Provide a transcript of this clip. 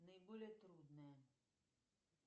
наиболее трудное